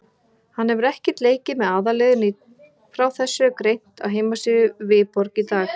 Frá þessu er greint á heimasíðu Viborg í dag.